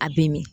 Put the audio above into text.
A bɛ min